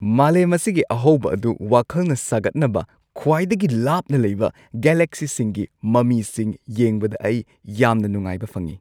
ꯃꯥꯂꯦꯝ ꯑꯁꯤꯒꯤ ꯑꯍꯧꯕ ꯑꯗꯨ ꯋꯥꯈꯜꯅ ꯁꯥꯒꯠꯅꯕ ꯈ꯭ꯋꯥꯏꯗꯒꯤ ꯂꯥꯞꯅ ꯂꯩꯕ ꯒꯦꯂꯦꯛꯁꯤꯁꯤꯡꯒꯤ ꯃꯃꯤꯁꯤꯡ ꯌꯦꯡꯕꯗ ꯑꯩ ꯌꯥꯝꯅ ꯅꯨꯡꯉꯥꯏꯕ ꯐꯪꯉꯤ꯫